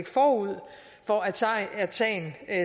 forud for at at sagen